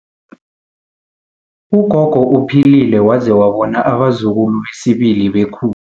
Ugogo uphilile waze wabona abazukulu besibili bekhu